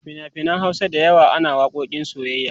a finafinan Hausa da yawa ana waƙoƙin soyyayya